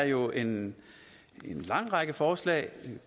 jo en lang række forslag